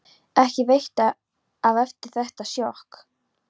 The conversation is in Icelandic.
Ekki veitti af eftir þetta sjokk.